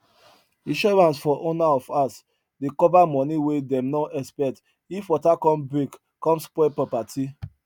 insurance for owner of house dey cover money wey them no expect if water con break con spoil property